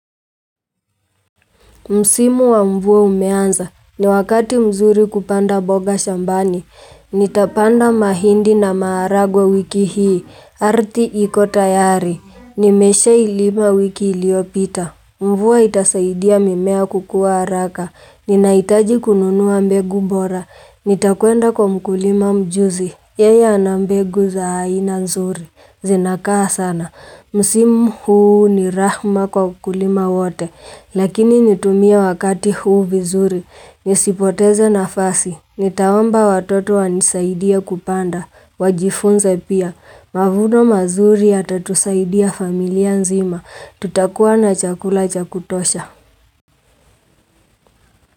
Msimu wa mvua umeanza, ni wakati mzuri kupanda boga shambani, nitapanda mahindi na maaragwe wiki hii, arti ikotayari, nimeshailima wiki iliopita. Mvua itasaidia mimea kukua haraka, ninaitaji kununuwa mbegu bora, nitakuenda kwa mkulima mjuzi, yeye anambegu za aina nzuri, zinakaa sana. Musimu huu ni rahma kwa kulima wote, lakini nitumia wakati huu vizuri, nisipoteze nafasi, nitawomba watoto wanisaidia kupanda, wajifunze pia, mavuno mazuri atatusaidia familia nzima, tutakuwa na chakula chakutosha.